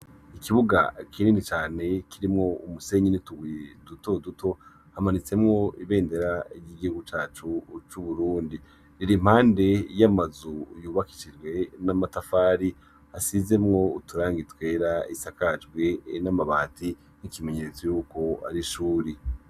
Ikibuga kinini cane kirimwo umusenyi n'utubuye duto duto, hamanitsemwo ibendera ry'igihugu cacu c'Uburundi, riri impande y'amazu yubakishiwje n'amatafari ,asizemwo uturangi twera, isakajwe n'amabati, nk'ikimenyetso yuko ari ishuri.